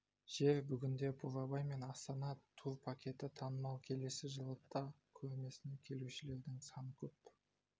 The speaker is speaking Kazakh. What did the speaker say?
жер бүгінде бурабай мен астана тур пакеті танымал келесі жылы да көрмесіне келушілердің саны көп